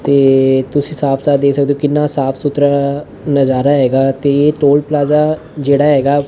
ਤੇ ਤੁਸੀਂ ਸਾਫ ਸਾਫ ਦੇਖ ਸਕਦੇ ਔ ਕਿੰਨਾ ਸਾਫ ਸੁਥਰਾ ਨਜ਼ਾਰਾ ਹੈਗਾ ਤੇ ਟੋਲ ਪਲਾਜ਼ਾ ਜਿਹੜਾ ਹੈਗਾ--